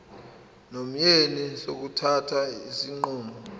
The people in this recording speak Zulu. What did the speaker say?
nomyeni sokuthatha isinqumo